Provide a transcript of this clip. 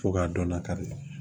Fo ka dɔnna kari